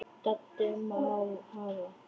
Doddi: Má hafa